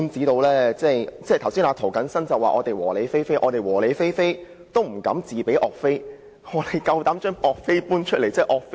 涂謹申議員剛才說我們"和理非非"，但即使我們"和理非非"，也不敢自比岳飛，但他竟敢搬出岳飛。